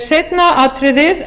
seinna atriðið